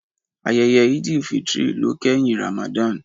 Ayẹyẹ Eid-el-fitr ló kẹ́hìn Ramadan.